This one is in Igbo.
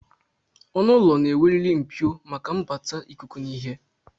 Ọnụụlọ na-enweriri Mpio maka mbata ikuku na ihe